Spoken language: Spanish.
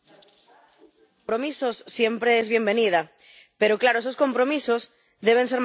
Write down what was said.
compromisos siempre es bienvenida, pero claro, esos compromisos deben ser más ambiciosos.